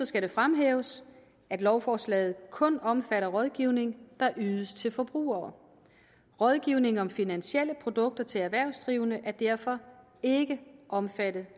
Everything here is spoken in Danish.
skal det fremhæves at lovforslaget kun omfatter rådgivning der ydes til forbrugere rådgivning om finansielle produkter til erhvervsdrivende er derfor ikke omfattet